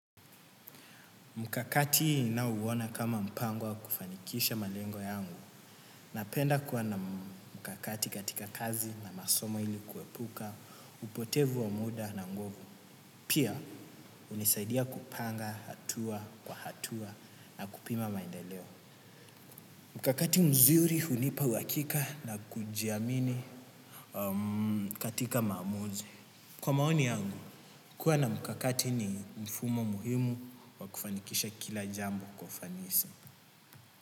Mkakati ninao uona kama mpango wa kufanikisha malengo yangu. Na penda kuwa na mkakati katika kazi na masomo ilikuwepuka, upotevu wa muda na nguvu. Pia, unisaidia kupanga, hatua, kwa hatua na kupima maendeleo. Mkakati mzuri hunipa uhakika na kujiamini katika maamuzi kwa maoni yangu kua na mkakati ni mfumo muhimu wa kufanikisha kila jambo kwa ufanisi.